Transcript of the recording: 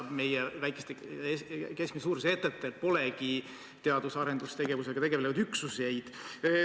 Meie väikestel ja keskmise suurustega ettevõtetel polegi teadus- ja arendustegevusega tegelevaid üksuseid.